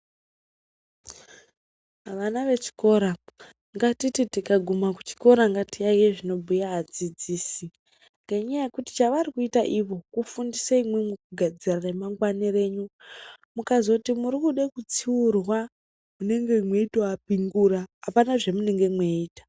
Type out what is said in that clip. Vana vechikora ngatiti tikaguma kuchikora ngatiyaiye zvinobhuya adzidzisi ngenyaya yekuti chavarikuita ivo kufundisa imwimwi kugadzira ramangwani renyu. Mukazoti murikude kutsiurwa mweitoapingura apana zvemunenge mweiita.